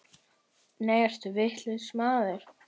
Nei, ertu vitlaus maður!